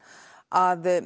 að